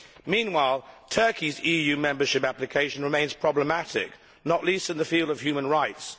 Meanwhile, Turkey's EU membership application remains problematic, not least in the field of human rights.